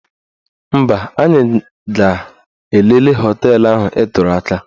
Mba, anyị ga-elele họteelụ ahụ ị tụrụ aka.